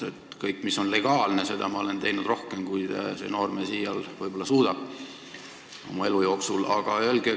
Kõike seda, mis on legaalne, olen ma teinud rohkem, kui see noormees võib-olla oma elu jooksul iial suudab.